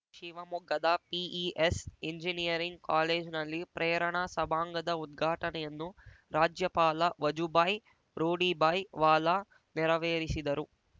ಶಿವಮೊಗ್ಗದ PES engineering ಕಾಲೇಜ್ನಲ್ಲಿ ಪ್ರೇರಣಾ ಸಭಾಂಗಣದ ಉದ್ಘಾಟನೆಯನ್ನು ರಾಜ್ಯಪಾಲ ವಜುಬಾಯಿ ರೂಡಿಬಾಯಿ ವಾಲಾ ನೆರವೇರಿಸಿದರು